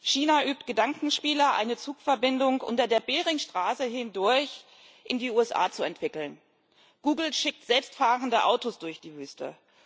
China übt Gedankenspiele, eine Zugverbindung unter der Beringstraße hindurch in die USA zu entwickeln, Google schickt selbstfahrende Autos durch die Wüste.